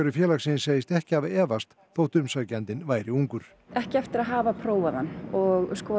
félagsins segist ekki hafa efast þótt umsækjandinn væri ungur ekki eftir að hafa prófað hann og skoðað